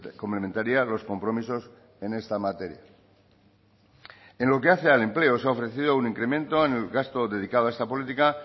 complementaría los compromisos en esta materia en lo que hace al empleo se ha ofrecido un incremento en el gasto dedicado a esta política